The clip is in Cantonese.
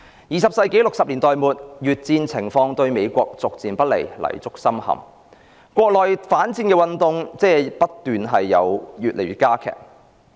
二十世紀的1960年代末，越戰情況對美國逐漸不利，泥足深陷，國內反戰運動加劇。